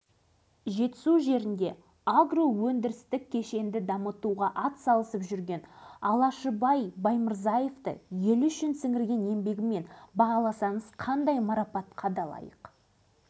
сондықтан бір ойшылдың өзгеге де сенбе өзіңе де сенбе істеген ісіңе сен деген қағидасына сүйенген жөн секілді